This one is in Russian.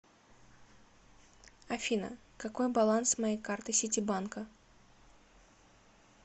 афина какой баланс моей карты ситибанка